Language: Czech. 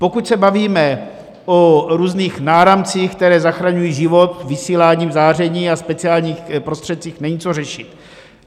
Pokud se bavíme o různých náramcích, které zachraňují život vysíláním záření a speciálních prostředcích, není co řešit.